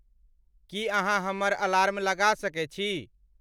की अहाँहमर अलार्म लगा सके छी